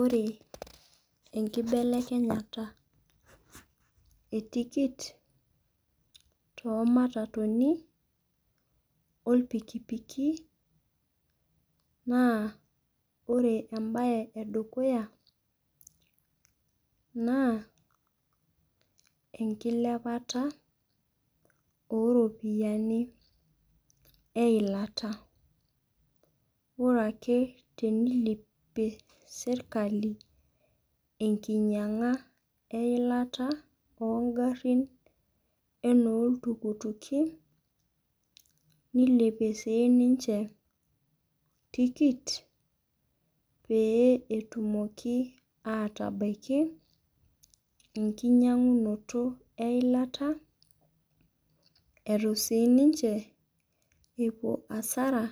Ore enkibelekenyata e tikit too matatuni, ortukutuki, naa ore embae edukuya naa enkilepata oo iropiyiani eilata. Ore ake peyie eilepie sirkali enkinyianya eilta oongarrin neilepie siiniche tikit peyie etumoki aatabaiki enkinyiangunot eilata eitu siinche epuo hasara.